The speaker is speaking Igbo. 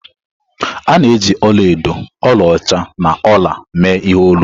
A na-eji ọla edo, ọlaọcha na ọla mee ihe olu.